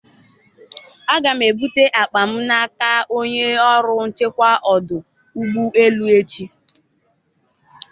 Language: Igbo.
Aga m ebute akpa m n'aka onye ọrụ nchekwa ọdụ ụgbọ elu echi.